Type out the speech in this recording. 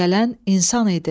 Gələn insan idi.